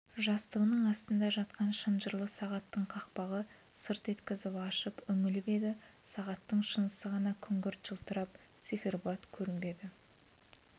жастығының астында жатқан шынжырлы сағаттың қақпағын сырт еткізіп ашып үңіліп еді сағаттың шынысы ғана күнгірт жылтырап циферблат көрінбеді